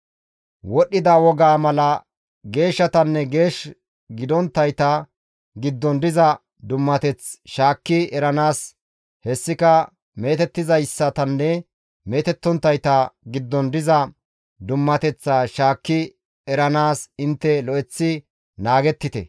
Wodhdhida wogaa mala geeshshatanne geesh gidonttayta giddon diza dummateth shaakki eranaas hessika meetettizaytanne meetettonttayta giddon diza dummateththaa shaakki eranaas intte lo7eththi naagettite.› »